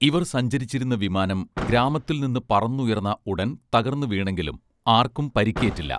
ഇവർ സഞ്ചരിച്ചിരുന്ന വിമാനം ഗ്രാമത്തിൽ നിന്നു പറന്നുയർന്ന ഉടൻ തകർന്നു വീണെങ്കിലും ആർക്കും പരിക്കേറ്റില്ല